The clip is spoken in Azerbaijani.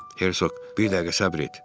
Hersoq, bir dəqiqə səbr et.